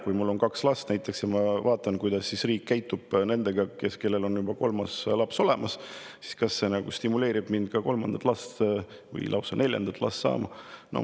Kui mul on kaks last ja ma vaatan, kuidas riik käitub nendega, kellel on kolmas laps juba olemas, siis kas see stimuleerib mind kolmandat või lausa neljandat last saama?